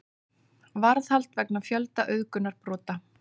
Varðhald vegna fjölda auðgunarbrota